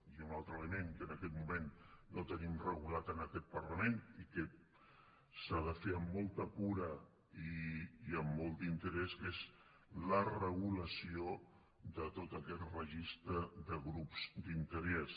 i un altre element que en aquest moment no tenim regulat en aquest parlament i que s’ha de fer amb molta cura i amb molt d’interès que és la regulació de tot aquest registre de grups d’interès